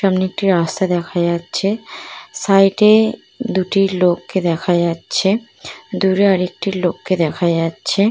সামনে একটি রাস্তা দেখা যাচ্ছে সাইড এ দুটি লোক কে দেখা যাচ্ছে দূরে আর একটি লোক কে দেখা যাচ্ছে ।